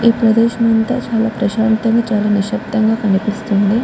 ఈ ప్రదేశం అంతా చాల ప్రశాంతం గ చాలా నిశ్శబ్దం గ కనిపిస్తుంది.